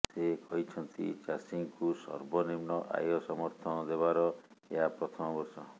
ସେ କହିଛନ୍ତି ଚାଷୀଙ୍କୁ ସର୍ବନିମ୍ନ ଆୟ ସମର୍ଥନ ଦେବାର ଏହା ପ୍ରଥମ ବର୍ଷ